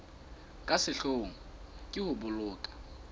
ka sehloohong ke ho boloka